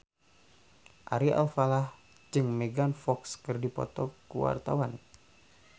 Ari Alfalah jeung Megan Fox keur dipoto ku wartawan